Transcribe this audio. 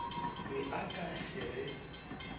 be a ka se re